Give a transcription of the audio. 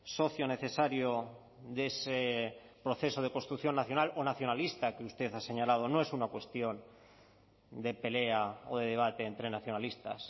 socio necesario de ese proceso de construcción nacional o nacionalista que usted ha señalado no es una cuestión de pelea o de debate entre nacionalistas